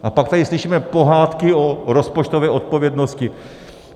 A pak tady slyšíme pohádky o rozpočtové odpovědnosti.